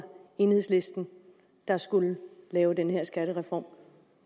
enhedslisten der skulle lave den her skattereform